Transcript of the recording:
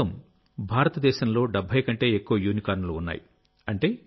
ప్రస్తుతం భారతదేశంలో 70 కంటే ఎక్కువ యూనికార్న్లు ఉన్నాయి